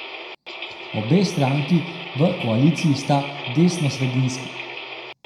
Obe stranki v koaliciji sta desnosredinski.